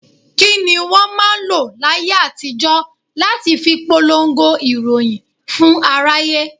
Kini wọn máa ń lọ láyé àtijó láti fi polongo ìròyìn fún aráyé?